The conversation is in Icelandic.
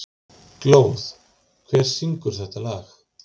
Glóð, hver syngur þetta lag?